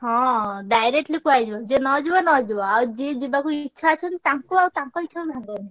ହଁ directly କୁହାହେଇଯିବ ଯିଏ ନ ଯିବ ନ ଯିବ ଆଉ ଯିଏ ଯିବାକୁ ଇଚ୍ଛା ଅଛି ତାଙ୍କୁ ଆଉ ତାଙ୍କ ଇଚ୍ଛାକୁ